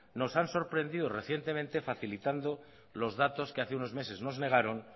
nos han sorprendido recientemente facilitando los datos que hace unos meses nos negaron